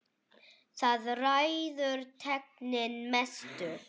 Þar ræður tæknin mestu.